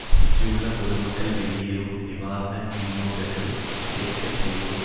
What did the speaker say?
சிக்கியுள்ள பொதுமக்கள் வெளியேறவும் நிவாரண விநியோகங்கள் கிடைக்க செய்யவும்